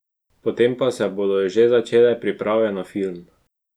Potem pa se bodo že začele priprave na film.